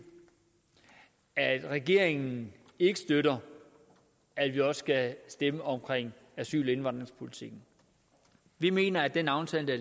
at regeringen ikke støtter at vi også skal stemme om asyl og indvandringspolitikken vi mener at den aftale der